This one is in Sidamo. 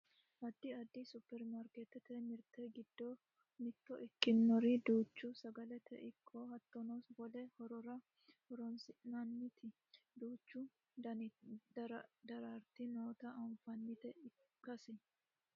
addi addi supperimarkeettete mirte giddo mitto ikkinori duucha sagalete ikko hattono wole horora hossannoti duucha dirante noota anfnnita ikkase .